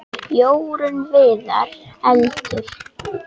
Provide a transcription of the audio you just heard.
Jórunn Viðar: Eldur.